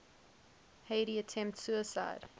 heidi attempts suicide